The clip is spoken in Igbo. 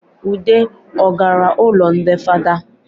Ude ọ gara ụlọ ndị fada?